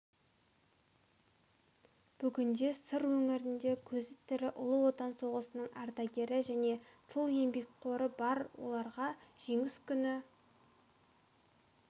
бүгінде сыр өңірінде көзі тірі ұлы отан соғысының ардагері және тыл еңбеккері бар оларға жеңіс күні